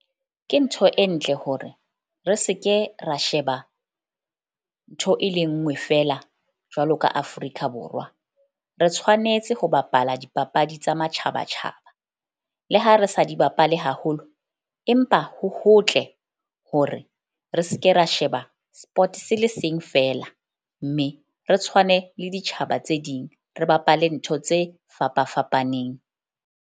Ke ntho e ntle hore re se ke ra sheba, ntho e le nngwe feela. Jwalo ka Afrika Borwa, re tshwanetse ho bapala dipapadi tsa matjhaba tjhaba. Le ha re sa di bapale haholo empa ho hotle hore re se ke ra sheba sport se le seng feela. Mme re tshwane le ditjhaba tse ding, re bapale ntho tse fapa fapaneng.